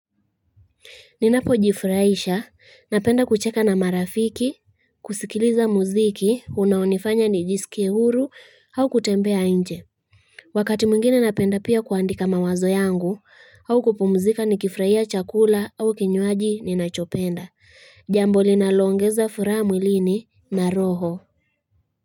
Ninapo jifraisha, napenda kucheka na marafiki, kusikiliza muziki, unaonifanya ni jisikie huru au kutembea inje. Wakati mwingine napenda pia kuandika mawazo yangu au kupumzika ni kifraia chakula au kinywaji ninachopenda. Jambo linaloongeza furaha mwilini na roho.